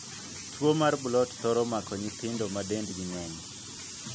Tuo mar blount thoro mako nyithindo ma dend gi ng'eny.